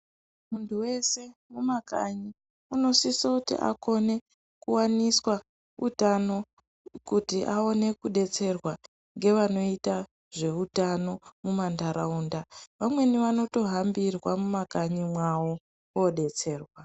Muntu weshe mumakanyi, unosisoti akone kuwaniswa utano ,kuti aone kudetserwa ,ngevanoita zveutano mumantaraunda. Vamweni vanotohambirwa mumakanyi mwawo koodetserwa.